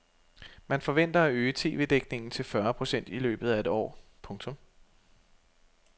Man forventer at øge TVdækningen til fyrre procent i løbet af et år. punktum